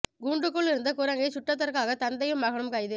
கூண்டுக்குள் இருந்த குரங்கைச் சுட்டதற்காக தந்தையும் மகனும் கைது